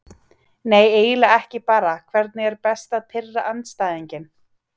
Nei eiginlega ekki bara Hvernig er best að pirra andstæðinginn?